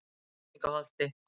Villingaholti